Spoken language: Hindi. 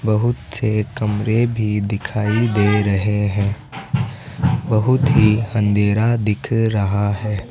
बहुत से कमरे भी दिखाई दे रहे हैं बहुत ही अंधेरा दिख रहा है।